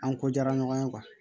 An ko jara ɲɔgɔn ye